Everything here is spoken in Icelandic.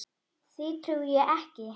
Því trúi ég ekki.